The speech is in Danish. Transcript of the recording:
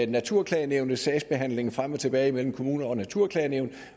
naturklagenævnets sagsbehandling frem og tilbage imellem kommuner og naturklagenævn